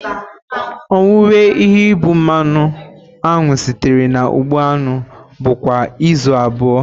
Owuwe ihe ubi mmanụ aṅụ sitere na ugbo aṅụ bụ kwa izu abụọ